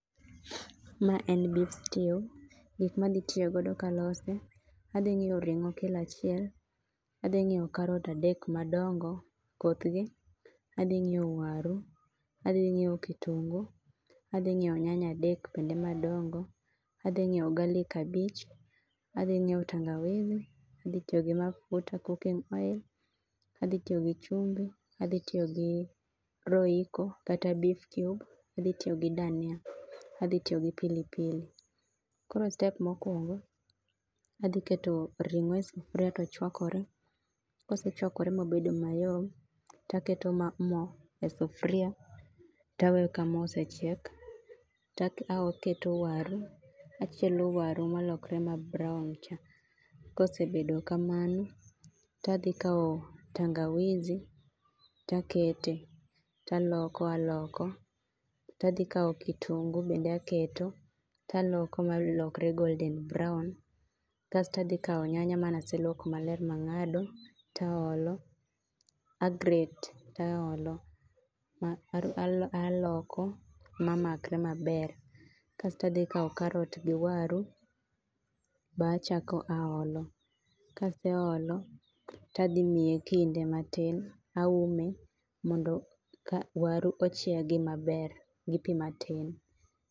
Ma en beef stew. Gik madhi tiyo godo kalose, adhi ng'iewo ring'o kilo achiel, adhi ngi'ewo karot adek madongo, koth gi, adhi ng'iewo waru, adhi ng'iewo kitungu, adhi ng'iewo nyanya adek bende madongo, adhi ng'iewo garlic abich, adhi ng'iewo tangawizi, adhi tiyo gi mafuta cooking oil, adhi tiyo gi chumbi, adhi tiyo gi royco kata beef cube, adhi tiyo gi dhania, adhi tiyo gi pilipili. Koro step mokuongo, adhi keto ring'o e sufria tochuakore, kosechuakore mobedo mayom, taketo mo e sufria, taweyo ka mo osechiek, taketo waru, achielo waru malokre ma brown cha. Kosebedo kamano, tadhi kao tangawizi takete, taloko aloko, tadhi kao kitungu bende aketo, taloko malokre golden brown. Kasto adhi kao nyanya ma naselwoko maler mang'ado, taolo. A grate taolo, aloko ma makre maber. Kasto adhi kao karot gi waru, be achako aolo. Kaseolo, tadhimiye kinde matin. Aume mondo ka waru ochiegi maber gi pii matin.